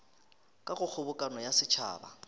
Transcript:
ka go kgobokano ya setšhaba